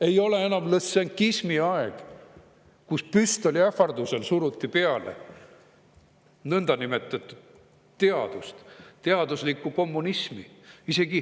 Ei ole enam lõssenkismi aeg, kus püstoli ähvardusel suruti peale nõndanimetatud teadust, teaduslikku kommunismi.